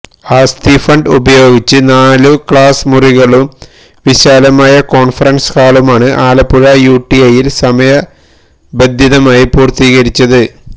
ആസ്തി ഫണ്ട് ഉപയോഗിച്ച് നാലു ക്ലാസ് മുറികളും വിശാലമായ കോണ്ഫറന്സ് ഹാളുമാണ് ആലപ്പുഴ യുടിഐയില് സമയബന്ധിതമായി പൂര്ത്തീകരിച്ചത്